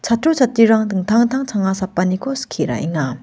chatrirang dingtang dingtang changa sapaniko skie ra·enga.